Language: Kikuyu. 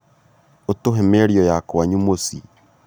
ũtũhe mĩario ya kwanyu mũcii